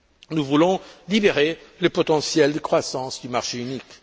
Nous voulons libérer le potentiel de croissance du marché unique.